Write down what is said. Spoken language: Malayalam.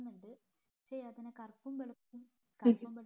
കറുപ്പും വെളുപ്പും ഉണ്ട് പക്ഷെ അതിനെ കറുപ്പും വെളുപ്പും